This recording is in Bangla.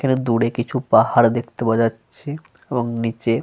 এখানে দূরে কিছু পাহাড় দেখতে পাওয়া যাচ্ছে। এবং নিচে।